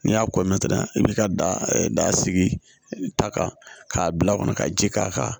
N'i y'a i b'i ka da sigi ta kan k'a bila kɔnɔ ka ji k'a kan